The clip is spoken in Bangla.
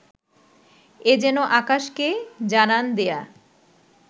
এ যেন আকাশকে জানান দেয়া